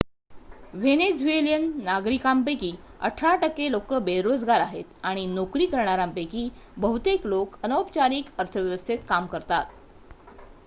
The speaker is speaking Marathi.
व्हेनेझुएलियन नागरिकांपैकी अठरा टक्के लोकं बेरोजगार आहेत आणि नोकरी करणाऱ्यांपैकी बहुतेक लोकं अनौपचारिक अर्थव्यवस्थेत काम करतात